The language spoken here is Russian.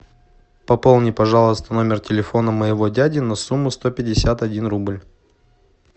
пополни пожалуйста номер телефона моего дяди на сумму сто пятьдесят один рубль